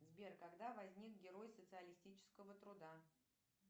сбер когда возник герой социалистического труда